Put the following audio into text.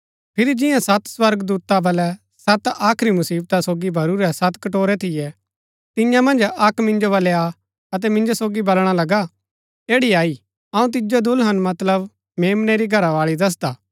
फिरी जिन्या सत स्वर्गदूता बलै सत आखरी मुसिवता सोगी भरूरै सत कटोरै थियै तियां मन्ज अक्क मिन्जो बलै आ अतै मिन्जो सोगी बलणा लगा ऐड़ी अई अऊँ तिजो दुल्हन मतलब मेम्नै री घरावाळी दसदा